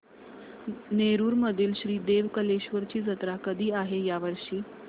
नेरुर मधील श्री देव कलेश्वर ची जत्रा कधी आहे या वर्षी